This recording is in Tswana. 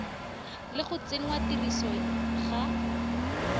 le go tsenngwa tirisong ga